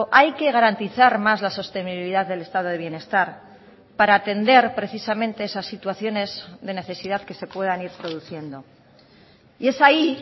hay que garantizar más la sostenibilidad del estado de bienestar para atender precisamente esas situaciones de necesidad que se puedan ir produciendo y es ahí